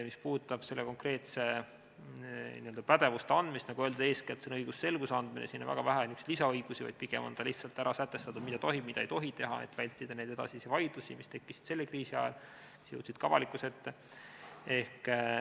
Mis puudutab konkreetsete pädevuste andmist, siis nagu öeldud, eeskätt on see õigusselguse loomine, siin on väga vähe niisuguseid lisaõigusi, pigem on ära sätestatud, mida tohib ja mida ei tohi teha, et vältida vaidlusi, mis tekkisid selle kriisi ajal ja jõudsid ka avalikkuse ette.